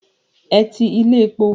Ẹ ti ilé epo.